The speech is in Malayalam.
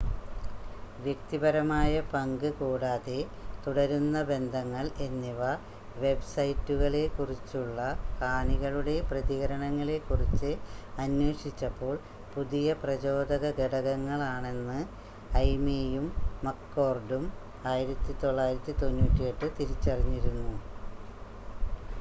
"""വ്യക്തിപരമായ പങ്ക്" കൂടാതെ "തുടരുന്ന ബന്ധങ്ങള്‍" എന്നിവ വെബ്സൈറ്റുകളെക്കുറിച്ചുള്ള കാണികളുടെ പ്രതികരണങ്ങളെക്കുറിച്ച് അന്വേഷിച്ചപ്പോള്‍ പുതിയ പ്രചോദക ഘടകങ്ങളാണെന്ന് ഐയ്മേയും മക്‍കോര്‍ഡും 1998 തിരിച്ചറിഞ്ഞിരുന്നു.